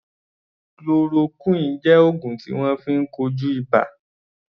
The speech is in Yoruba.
Chloroquine jẹ́ oògùn tí wọ́n fi ń kojú ibà.